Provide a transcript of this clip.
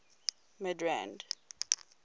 midrand